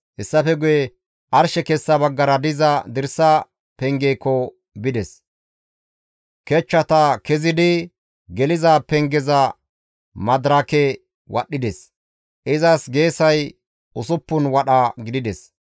Hessafe guye arshe kessa baggara diza dirsa pengeekko bides. Kechchata kezidi geliza pengeza madirake wadhdhides; izas geesay usuppun wadha gidides.